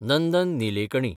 Nandan Nilekani